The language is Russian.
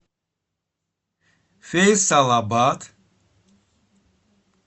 фейсалабад